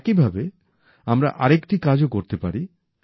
একইভাবে আমরা আরেকটি কাজও করতে পারি